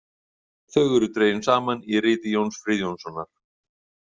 Þau eru dregin saman í riti Jóns Friðjónssonar.